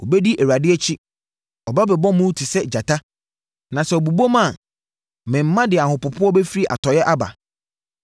Wɔbɛdi Awurade akyi. Ɔbɛbobɔ mu te sɛ gyata. Na sɛ ɔbobɔm a, ne mma de ahopopoɔ bɛfiri atɔeɛ aba.